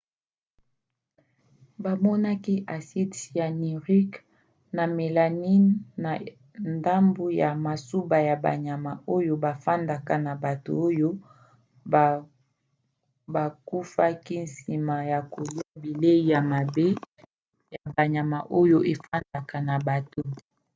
bamonaki aside cyanurique na melamine na ndambu ya masuba ya banyama oyo bafandaka na bato oyo bakufaki nsima ya kolia bilei ya mabe ya banyama oyo efandaka na bato